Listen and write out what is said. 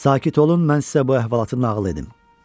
Sakit olun, mən sizə bu əhvalatı nağıl edim.